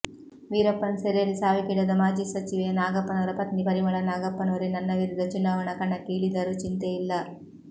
ವೀರಪ್ಪನ್ ಸೆರೆಯಲ್ಲಿ ಸಾವಿಗೀಡಾದ ಮಾಜಿ ಸಚಿವ ನಾಗಪ್ಪನವರ ಪತ್ನಿ ಪರಿಮಳಾ ನಾಗಪ್ಪನವರೇ ನನ್ನ ವಿರುದ್ಧ ಚುನಾವಣಾ ಕಣಕ್ಕೆ ಇಳಿದರೂ ಚಿಂತೆಯಿಲ್ಲ